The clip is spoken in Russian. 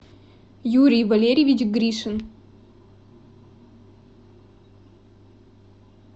юрий валерьевич гришин